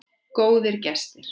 Góðir gestir.